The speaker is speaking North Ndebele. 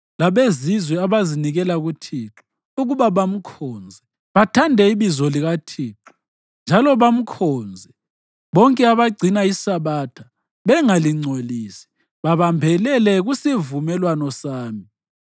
Labezizwe abazinikela kuThixo ukuba bamkhonze, bathande ibizo likaThixo, njalo bamkhonze, bonke abagcina iSabatha bengalingcolisi, babambelele kusivumelwano sami,